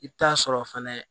I bɛ taa sɔrɔ fɛnɛ